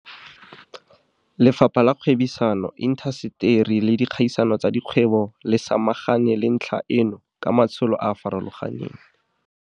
Lefapha la Kgwebisano, Inta seteri le Dikgaisano tsa Dikgwebo dtic le samagane le ntlha eno ka matsholo a a farologaneng.